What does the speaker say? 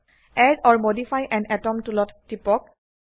add or modify an item টুলত টিপক